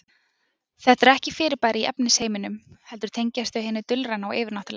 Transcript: Þetta eru ekki fyrirbæri í efnisheiminum heldur tengjast þau hinu dulræna og yfirnáttúrulega.